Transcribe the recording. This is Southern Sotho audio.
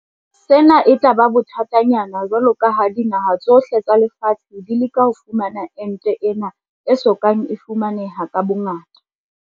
Sena e tla ba bothatanyana jwalo ka ha dinaha tsohle tsa lefatshe di leka ho fumana ente ena e so kang e fumaneha ka bongata.